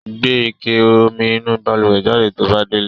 Gbe ike omi inú balùwẹ̀ jáde to bá délé.